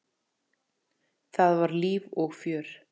Það var líf og fjör.